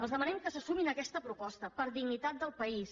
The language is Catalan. els demanem que se sumin a aquesta proposta per dignitat del país